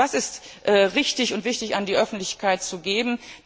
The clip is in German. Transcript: Und was ist richtig und wichtig, an die Öffentlichkeit zu